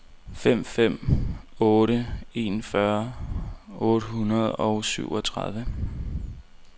fem fem otte en fyrre otte hundrede og syvogtredive